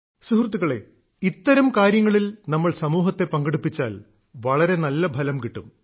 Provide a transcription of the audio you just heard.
സുഹൃത്തുക്കളേ ഇത്തരം കാര്യങ്ങളിൽ നമ്മൾ സമൂഹത്തെ പങ്കെടുപ്പിച്ചാൽ വളരെ നല്ല ഫലം കിട്ടും